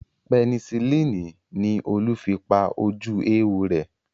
Penicillini ni Olú fi pa ojú éwo rẹ̀